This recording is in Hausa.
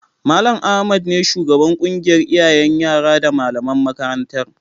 Mal. Ahmad ne shugaban ƙungiyar iyayen yara da malaman makarantar